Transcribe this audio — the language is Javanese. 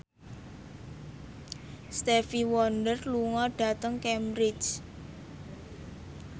Stevie Wonder lunga dhateng Cambridge